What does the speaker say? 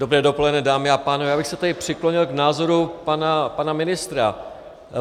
Dobré dopoledne, dámy a pánové, já bych se tady přiklonil k názoru pana ministra.